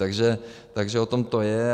Takže o tom to je.